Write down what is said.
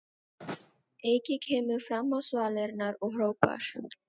Eiki kemur fram á svalirnar og hrópar